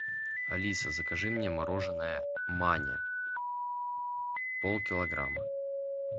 алиса закажи мне мороженое маня полкилограмма